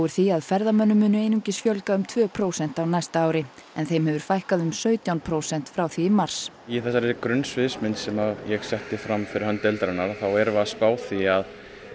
því að ferðamönnum munu einungis fjölga um tvö prósent á næsta ári þeim hefur fækkað um sautján prósent frá því í mars í þessari grunnsviðsmynd sem ég setti fram fyrir hönd deildarinnar þá erum við að spá því að